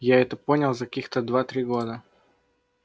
я это понял за каких-то два-три года